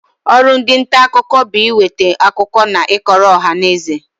Ọrụ ndị nta akụkọ bụ ị nweta akụkọ na ị kọrọ ọhanaeze.